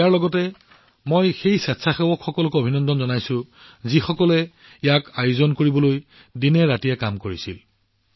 ইয়াৰ লগতে মই সেই স্বেচ্ছাসেৱকসকলকো অভিনন্দন জনাইছো যিসকলে ইয়াক আয়োজন কৰিবলৈ অহৰ্নিশে কাম কৰিবলৈ একত্ৰিত হৈছিল